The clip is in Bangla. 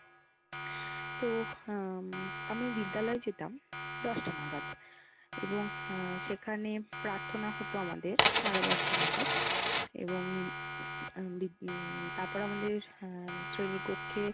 তো উম আমি বিদ্যালয়ে যেতাম দশটা নাগাদ। এবং আহ সেখানে প্রার্থনা হতো আমাদের সাড়ে দশটা নাগাদ। এবং তারপরে আমাদের শ্রেণী কক্ষে